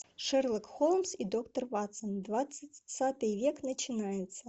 шерлок холмс и доктор ватсон двадцатый век начинается